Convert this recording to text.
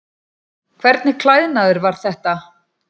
Hvernig klæðnaður var þetta?